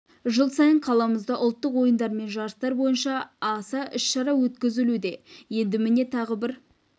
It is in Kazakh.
жыл сайын қаламызда ұлттық ойындар мен жарыстар бойынша аса іс-шара өткізілуде енді міне тағы бір